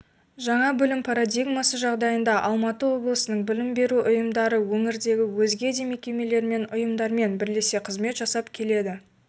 жаңа білім парадигмасы жағдайында алматы облысының білім беру ұйымдары өңірдегі өзге де мекемелермен ұйымдармен бірлесе қызмет жасап келеді